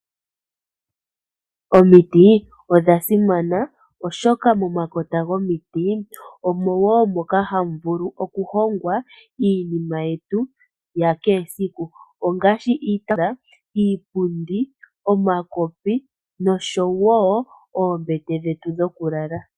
Omiti odha simana oshoka momakota gomiti oha mu vulu oku hongwa iinima yetu ya kehe siku. Ngaashi iitaafula, iipundi, omakopi, noombete dhetu dhokulala.